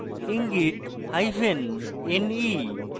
ইঙ্গিত: hyphen ne